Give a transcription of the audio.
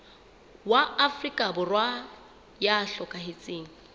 wa afrika borwa ya hlokahetseng